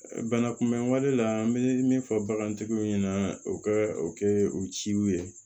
Bana kunbɛn wale la an bɛ min fɔ bagantigiw ɲɛna o ka o kɛ u ciw ye